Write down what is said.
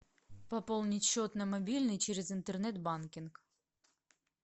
пополнить счет на мобильный через интернет банкинг